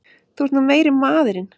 Þú ert nú meiri maðurinn!